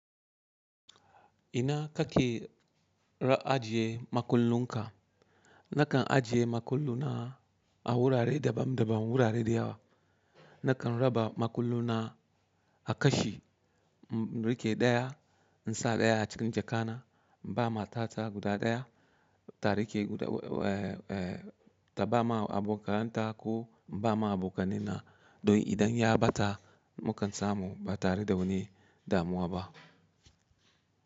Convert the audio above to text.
Ina kake ra ajiye makullunka? Nakan ajiye makulluna a wurare daban daban, wurare da yawa. Nakan raba makulluna a kashi, m-n riƙe daya, in sa daya a cikin jaka na, inba ma tata guda daya, tari ke guda w-w-e, ta ba ma abokananta ko ba ma abokanaina, don idan ya bata, mukan samu ba tare da wani damuwa ba.